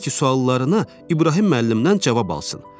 Tək ki, suallarına İbrahim müəllimdən cavab alsın.